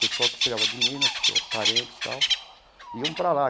Pessoal que chegava de Minas, que eram parentes e tal, iam para lá.